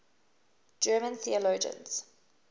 german theologians